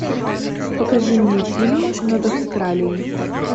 покажи мне фильм над австралией